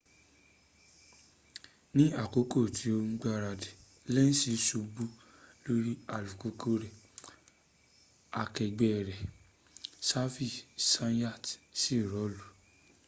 ní àkókò tí ó ń gbáradì lenz subu lórí alùpùpù rẹ̀ akẹgbẹ́ rẹ̀ xavier zayat sì rọ́ọ̀lú